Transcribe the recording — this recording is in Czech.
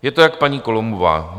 Je to jak paní Columbová.